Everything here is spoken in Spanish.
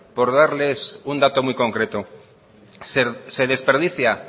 por darles un dato muy concreto se desperdicia